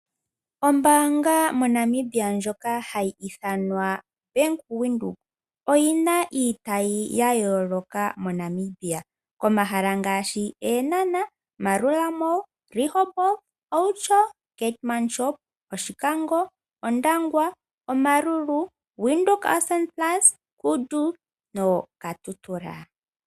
Ombaanga moNamibia ndjoka hayi ithanwa Bank Windhoek oyina iitayi ya yooloka moNamibia komahala ngaashi : Eenhana, Maerua Mall, Rehoboth, Outjo, Keetmanshoop, Oshikango, Ondangwa, Omaruru, Windhoek Ausspannplatz, Kudu noKatutura.